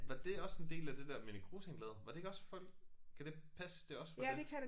Var det også en del af det der Minik Rosing lavede var det ikke også fold kan det passe det også var det